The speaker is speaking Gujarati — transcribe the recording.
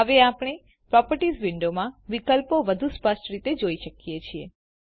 હવે આપણે પ્રોપર્ટીઝ વિંડોમાં વિકલ્પો વધુ સ્પષ્ટ રીતે જોઈ શકીએ છીએ